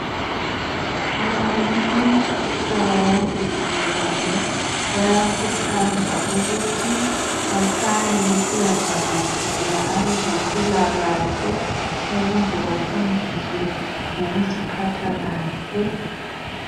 Abantu umhlaba wonke jikelele bayakuthazwa ukuthi bahlale besiyavakatshela abezempilakahle ukuze bafundiswe ngokuziphatha kahle.